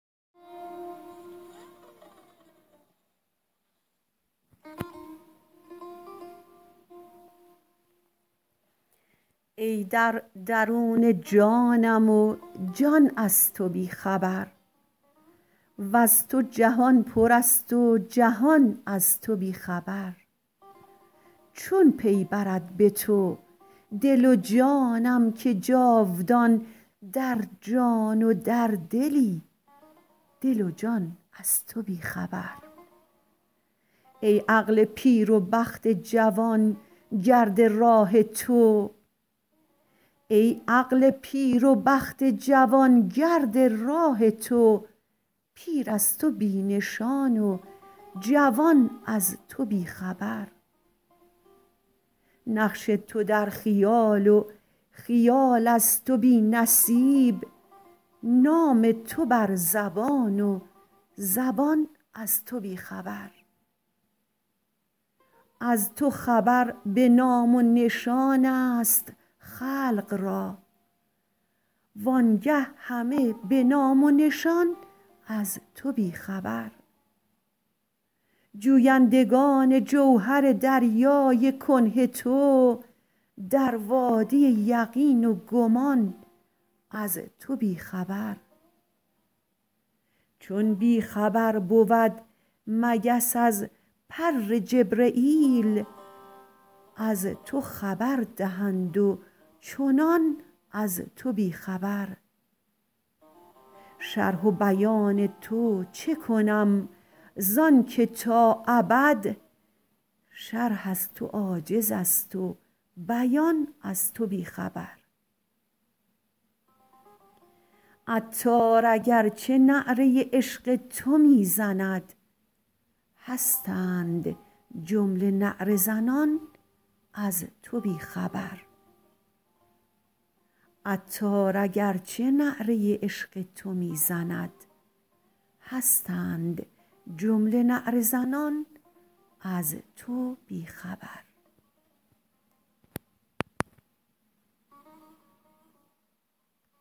ای در درون جانم و جان از تو بی خبر وز تو جهان پر است و جهان از تو بی خبر چون پی برد به تو دل و جانم که جاودان در جان و در دلی دل و جان از تو بی خبر ای عقل پیر و بخت جوان گرد راه تو پیر از تو بی نشان و جوان از تو بی خبر نقش تو در خیال و خیال از تو بی نصیب نام تو بر زبان و زبان از تو بی خبر از تو خبر به نام و نشان است خلق را وآنگه همه به نام و نشان از تو بی خبر جویندگان جوهر دریای کنه تو در وادی یقین و گمان از تو بی خبر چون بی خبر بود مگس از پر جبرییل از تو خبر دهند و چنان از تو بی خبر شرح و بیان تو چه کنم زان که تا ابد شرح از تو عاجز است و بیان از تو بی خبر عطار اگرچه نعره عشق تو می زند هستند جمله نعره زنان از تو بی خبر